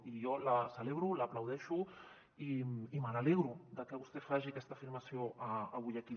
i jo la celebro l’aplaudeixo i me n’alegro de que vostè faci aquesta afirmació avui aquí